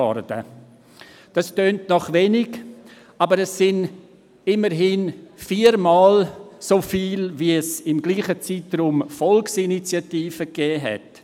Dies klingt nach wenig, aber es sind immerhin viermal so viele wie es im selben Zeitraum Volksinitiativen gegeben hat.